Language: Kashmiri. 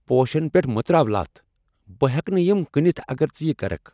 پوشن پیٹھ مہ تراو لتھ ۔ بہٕ ہیٚکہٕ نہٕ یم کٕنتھ اگر ژٕ یہِ کركھ ۔